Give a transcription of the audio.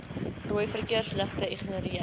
rooi verkeersligte ignoreer